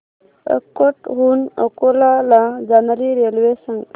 अकोट हून अकोला ला जाणारी रेल्वे सांग